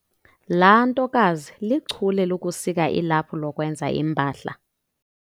Laa ntokazi lichule lokusika ilaphu lokwenza iimpahla.